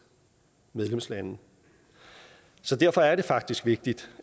medlemslande så derfor er det faktisk vigtigt